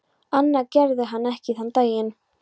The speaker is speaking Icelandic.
Annað gerði hann ekki þann daginn.